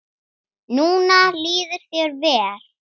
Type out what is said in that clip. Núna líður þér vel.